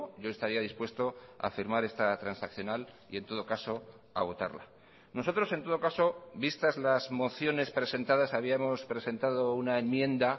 yo estaría dispuesto a firmar esta transaccional y en todo caso a votarla nosotros en todo caso vistas las mociones presentadas habíamos presentado una enmienda